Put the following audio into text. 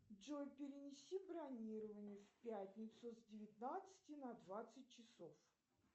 джой перенеси бронирование в пятницу с девятнадцати на двадцать часов